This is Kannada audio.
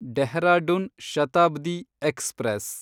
ಡೆಹ್ರಾಡುನ್ ಶತಾಬ್ದಿ ಎಕ್ಸ್‌ಪ್ರೆಸ್